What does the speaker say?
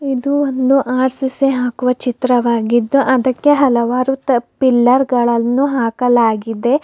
ಇದು ಒಂದು ಆರ್ಸೀಸೆ ಹಾಕುವ ಚಿತ್ರವಾಗಿದ್ದು ಅದಕ್ಕೆ ಹಲವಾರು ತ ಪಿಲ್ಲರ್ ಗಳನ್ನು ಹಾಕಲಾಗಿದೆ.